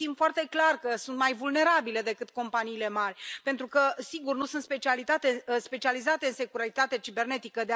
Știm foarte clar că ele sunt mai vulnerabile decât companiile mari pentru că, sigur, nu sunt specializate în securitatea cibernetică.